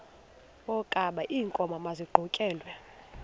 wokaba iinkomo maziqhutyelwe